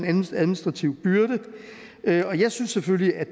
en administrativ byrde og jeg synes selvfølgelig at